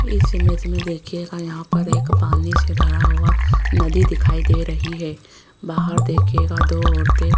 इस इमेज में देखिएगा यहां पर एक पानी से भरा हुआ नदी दिखाई दे रही है बाहर देखिएगा दो औरतें --